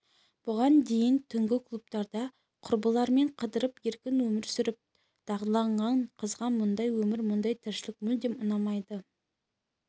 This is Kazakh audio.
бұған дейін түнгі клубтарда құрбыларымен қыдырып еркін өмір сүріп дағдыланған қызға мұндай өмір мұндай тіршілік мүлдем ұнамайды